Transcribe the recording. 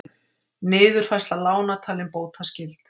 Niðurfærsla lána talin bótaskyld